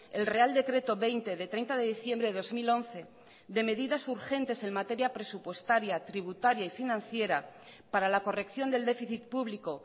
el real decreto veinte de treinta de diciembre de dos mil once de medidas urgentes en materia presupuestaria tributaria y financiera para la corrección del déficit público